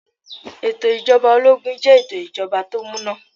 Ètò ijoba ológun jẹ́ ètò ìjọba tó múná.